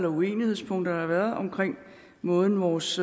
uenighedspunkter der har været omkring måden vores